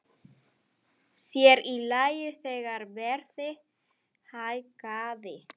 Sér í lagi þegar verðið hækkaði.